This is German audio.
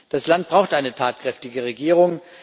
Das Land braucht eine tatkräftige Regierung.